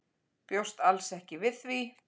Bjóst alls ekki við því.